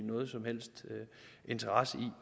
nogen som helst interesse